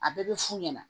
A bɛɛ bɛ fu ɲɛna